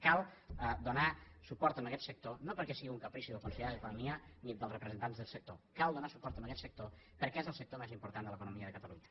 cal donar suport a aguest sector no perquè sigui un caprici del conseller d’economia ni dels representants del sector cal donar suport a aguest sector perquè és el sector més important de l’economia de catalunya